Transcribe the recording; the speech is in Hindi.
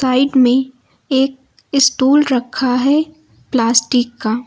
साइड में एक स्टूल रखा है प्लास्टिक का।